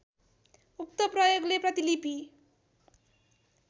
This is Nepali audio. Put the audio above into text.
उक्त प्रयोगले प्रतिलिपि